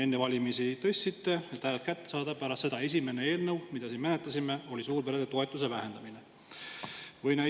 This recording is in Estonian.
Enne valimisi tõstsite neid, et hääled kätte saada, ja pärast seda oli esimene eelnõu, mida siin menetlesime, suurperede toetuste vähendamise kohta.